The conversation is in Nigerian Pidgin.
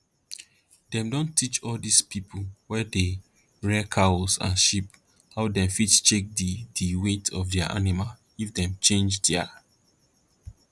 dem don teach all dis pipo wey dey rear cows and sheep how dem fit check di di weight of their animal if dem change their